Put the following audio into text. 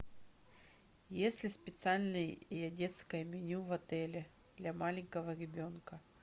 есть ли специальное детское меню в отеле для маленького ребенка